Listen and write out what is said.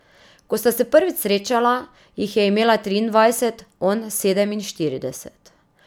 Ko sta se prvič srečala, jih je imela triindvajset, on sedeminštirideset.